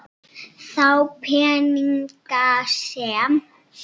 Þá peninga sem